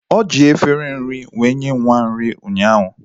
O ji efere nri nwa nye nwa m nri ụnyaahu.